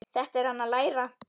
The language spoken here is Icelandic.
Þetta er hann að læra!